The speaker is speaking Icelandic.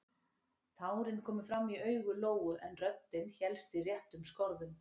Tárin komu fram í augu Lóu en röddin hélst í réttum skorðum.